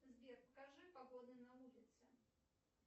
сбер покажи погоду на улице